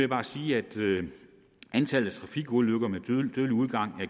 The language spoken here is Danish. bare sige at antallet af trafikulykker med dødelig udgang